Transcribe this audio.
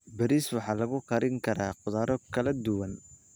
Bariis waxaa lagu karin karaa khudrado kala duwan.